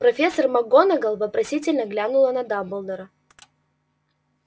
профессор макгонагалл вопросительно глянула на дамблдора